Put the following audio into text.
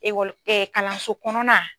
kalanso kɔnɔna.